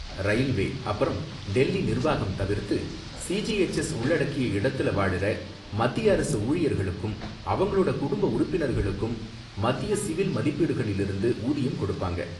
Railway அப்பறம் டெல்லி நிர்வாகம் தவிர்த்து சிஜிஹெச்எஸ் உள்ளடக்கிய இடத்துல வாழுற மத்திய அரசு ஊழியர்களுக்கும் அவங்களோட குடும்ப உறுப்பினர்களுக்கும் மத்திய சிவில் மதிப்பீடுகளிலிருந்து ஊதியம் கொடுப்பாங்க.